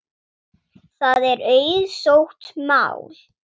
Það er auðsótt mál.